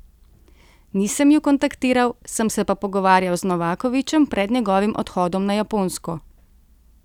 Nisem ju kontaktiral, sem se pa pogovarjal z Novakovićem pred njegovim odhodom na Japonsko.